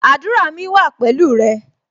Àdúrà mi wa pẹ̀lú rẹ